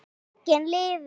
Bókin lifir!